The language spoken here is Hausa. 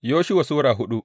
Yoshuwa Sura hudu